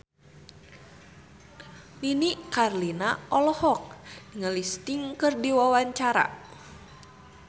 Nini Carlina olohok ningali Sting keur diwawancara